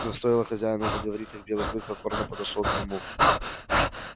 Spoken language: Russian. но стоило хозяину заговорить как белый клык покорно подошёл к нему